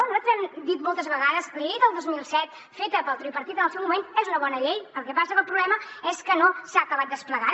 nosaltres ho hem dit moltes vegades la llei del dos mil set feta pel tripartit en el seu moment és una bona llei el que passa que el problema és que no s’ha acabat desplegant